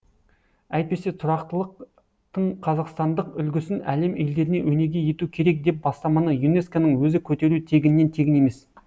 әйтпесе тұрақтылық тың қазақстандық үлгісін әлем елдеріне өнеге ету керек деп бастаманы юнеско ның өзі көтеруі тегіннен тегін емес